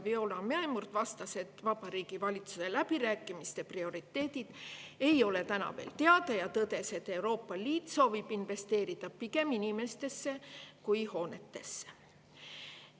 Viola Mäemurd vastas, et Vabariigi Valitsuse läbirääkimiste prioriteedid ei ole veel teada, ja tõdes, et Euroopa Liit soovib investeerida pigem inimestesse kui hoonetesse.